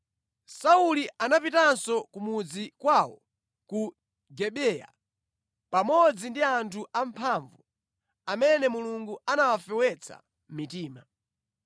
Sauli anapitanso ku mudzi kwawo ku Gibeya, pamodzi ndi anthu amphamvu amene Mulungu anawafewetsa mitima.